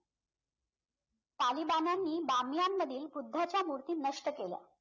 तालिबानांनी बामियांमधील बुद्धाच्या मूर्ती नष्ट केल्या